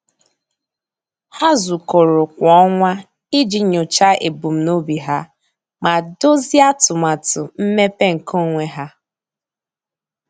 Há zùkọ́rọ́ kwa ọnwa iji nyòcháá ebumnobi ha ma dòzìé atụmatụ mmepe nke onwe ha.